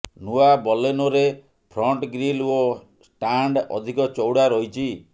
ନୂଆ ବଲେନୋରେ front grille ଓ ଷ୍ଟାଣ୍ଡ ଅଧିକ ଚୌଡା ରହିଛି